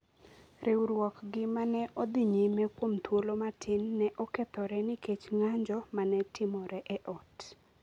riwruokgi ma ne odhi nyime kuom thuolo matin ne okethore nikech ng’anjo ma ne timore e ot.